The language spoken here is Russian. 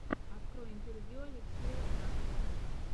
открой интервью алексея знакова